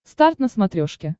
старт на смотрешке